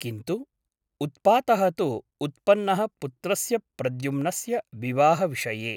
किन्तु उत्पातः तु उत्पन्नः पुत्रस्य प्रद्युम्नस्य विवाहविषये ।